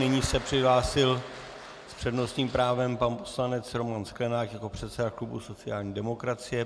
Nyní se přihlásil s přednostním právem pan poslanec Roman Sklenák jako předseda klubu sociální demokracie.